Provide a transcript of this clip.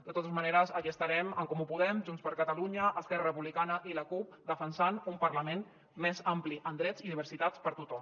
de totes maneres aquí estarem en comú podem junts per catalunya esquerra republicana i la cup defensant un parlament més ampli en drets i diversitat per tothom